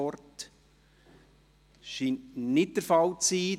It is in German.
– Das scheint nicht der Fall zu sein.